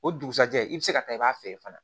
O dugusajɛ i bɛ se ka taa i b'a feere fana